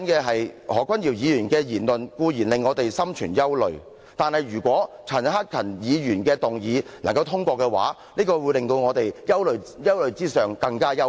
何君堯議員的言論固然令我們心存憂慮，但如果陳克勤議員提出的議案獲得通過，這會令我們在憂慮之上，更為憂慮。